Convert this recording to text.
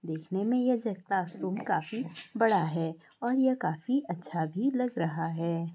देखने मे ये क्लासरूम काफी बड़ा है और ये काफी अच्छा भी लग रहा है।